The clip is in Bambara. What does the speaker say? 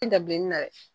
dabileni na